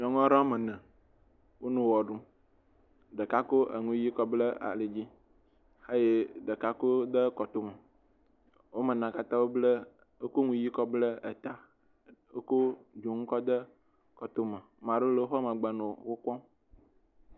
nyɔŋuɔɖowo wɔmene wónɔ ɣe ɖu ɖeka kó eŋuyi kɔ bla alidzi ɖeka kó de kɔtome wɔmenea katã wokó eŋu yi kɔble ta wokó dzoŋu kɔde kɔtome maɖe le wóƒe megbe nɔ wó kpɔm